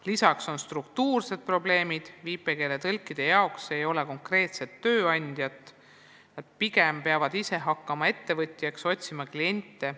Lisaks on struktuursed probleemid, viipekeeletõlkide jaoks ei ole konkreetset tööandjat, nad peavad enamasti ise hakkama ettevõtjaks, otsima kliente.